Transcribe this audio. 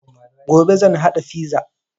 Gobe zan haɗa fiza